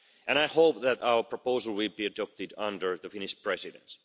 I hope that our proposal will be adopted under the Finnish Presidency.